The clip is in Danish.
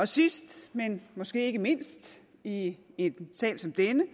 sidst men måske ikke mindst i en sag som denne